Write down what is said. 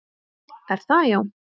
Er það já?